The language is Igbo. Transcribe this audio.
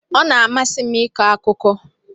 Ọ na-amasị m ịkọ akụkọ.